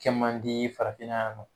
Cɛ man di farafinna yan nɔ.